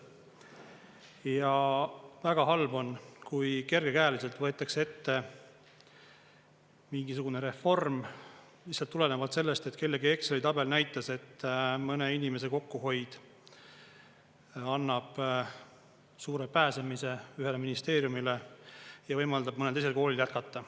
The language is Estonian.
Ja väga halb on, kui kergekäeliselt võetakse ette mingisugune reform lihtsalt tulenevalt sellest, et kellegi Exceli tabel näitas, et mõne inimese kokkuhoid annab suure pääsemise ühele ministeeriumile ja võimaldab mõnel teisel koolil jätkata.